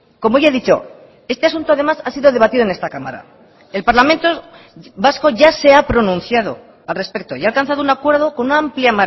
como ya he dicho este asunto además ha sido debatido en esta cámara el parlamento vasco ya se ha pronunciado al respecto y ha alcanzado un acuerdo con una amplia